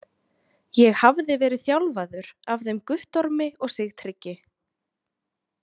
Ég hafði verið þjálfaður af þeim Guttormi og Sigtryggi.